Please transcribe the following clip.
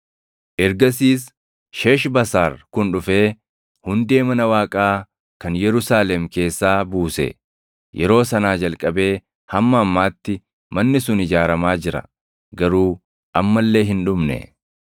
“Ergasiis Sheeshbasaar kun dhufee hundee mana Waaqaa kan Yerusaalem keessaa buuse. Yeroo sanaa jalqabee hamma ammaatti manni sun ijaaramaa jira; garuu amma illee hin dhumne.”